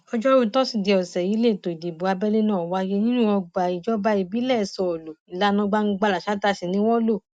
ọjọrùú tosidee ọsẹ yìí lẹtọ ìdìbò abẹlé náà wáyé nínú ọgbà ìjọba ìbílẹ sọọlù ìlànà gbangbalasàáta sí ni wọn lò